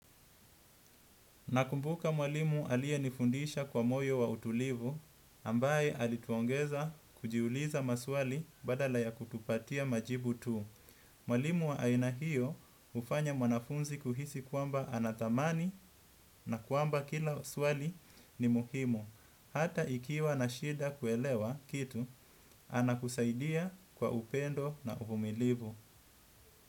Nakumbuka mwalimu aliyenifundisha kwa moyo wa utulivu, ambaye alituongeza kujiuliza maswali badala ya kutupatia majibu tu. Mwalimu wa aina hiyo hufanya mwanafunzi kuhisi kwamba anathaminiwa na kwamba kila swali ni muhimu. Hata ikiwa na shida kuelewa kitu, anakusaidia kwa upendo na uvumilivu.